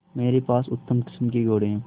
मेरे पास उत्तम किस्म के घोड़े हैं